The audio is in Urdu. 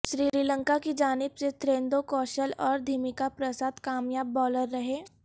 سری لنکا کی جانب سے تھریندو کوشل اور دھمیکا پرساد کامیاب بولر رہے